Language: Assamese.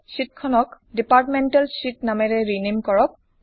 শ্বিটখনক ডিপাৰ্টমেণ্ট শীত নামেৰে ৰিনেম কৰক